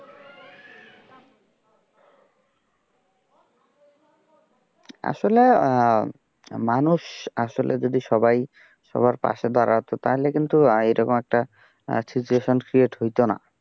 আসলে মানুষ আসলে যদি সবাই সবার পাশে দাঁড়াতো তাহলে কিন্তু এরকম একটা situation create হইতো না।